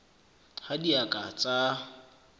ha di a ka tsa